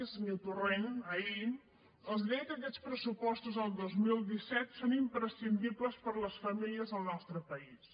el senyor torrent ahir els deia que aquests pressupostos del dos mil disset són imprescindibles per a les famílies al nostre país